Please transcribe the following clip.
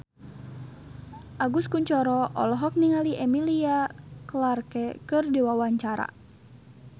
Agus Kuncoro olohok ningali Emilia Clarke keur diwawancara